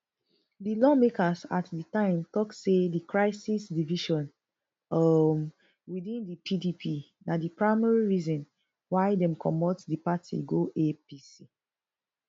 di lawmakers at di time tok say di crisis division um within di pdp na di primary reason why dem comot di party go apc